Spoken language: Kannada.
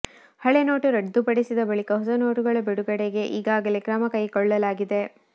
ಹಳೆ ನೋಟು ರದ್ದುಪಡಿಸಿದ ಬಳಿಕ ಹೊಸ ನೋಟುಗಳ ಬಿಡುಗಡೆಗೆ ಈಗಾಗಲೇ ಕ್ರಮ ಕೈಗೊಳ್ಳಲಾಗಿದೆ